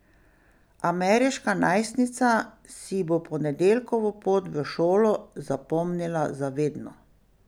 Ameriška najstnica si bo ponedeljkovo pot v šolo zapomnila za vedno.